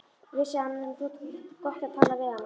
Vissi að henni þótti gott að tala við hana.